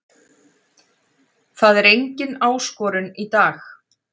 Það var engin áskorun í dag.